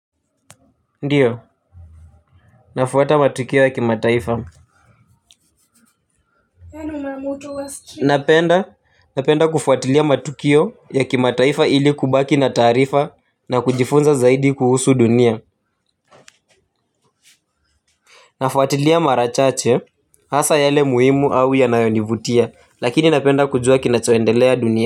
Ndiyo nafuwata matukio ya kimataifa napenda napenda kufuatilia matukio ya kimataifa ili kubaki na taarifa na kujifunza zaidi kuhusu dunia nafuatilia mara chache hasa yale muhimu au yanayonivutia lakini napenda kujuwa kinachoendelea dunia.